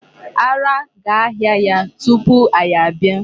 Ara ga-ahịa ya tupu anyị abịa.